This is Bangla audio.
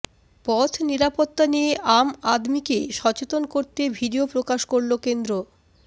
পথ নিরাপত্তা নিয়ে আম আদমিকে সচেতন করতে ভিডিও প্রকাশ করল কেন্দ্র